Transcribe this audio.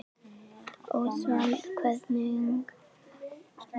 Ósvald, hvernig er veðrið á morgun?